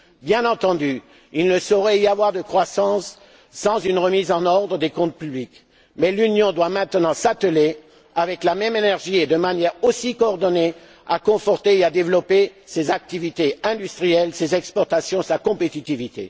Bien entendu, il ne saurait y avoir de croissance sans une remise en ordre des comptes publics mais l'Union doit maintenant s'atteler, avec la même énergie et de manière aussi coordonnée, à conforter et à développer ses activités industrielles, ses exportations, sa compétitivité.